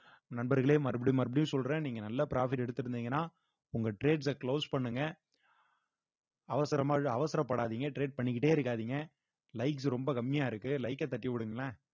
நண்பர்களே மறுபடியும் மறுபடியும் சொல்றேன் நீங்க நல்ல profit எடுத்திருந்தீங்கன்னா உங்க trades அ close பண்ணுங்க அவசரமா இல்ல அவசரப்படாதீங்க trade பண்ணிக்கிட்டே இருக்காதீங்க likes ரொம்ப கம்மியா இருக்கு like அ தட்டி விடுங்களேன்